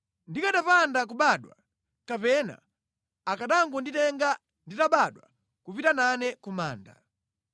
Ndikanapanda kubadwa, kapena akanangonditenga nditabadwa kupita nane ku manda!